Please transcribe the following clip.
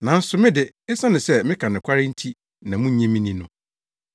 Nanso me de, esiane sɛ meka nokware nti na munnye me nni no.